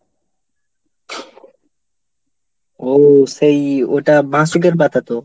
ও সেই ওটা বাঁশুকের পাতা তো?